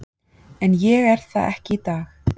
En ég er það ekki í dag.